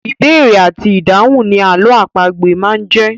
Ìbéèrè àti ìdáhùn ni àlọ́ àpagbè máa ń jẹ́.